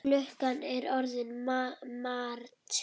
Klukkan er orðin margt.